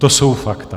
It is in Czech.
To jsou fakta.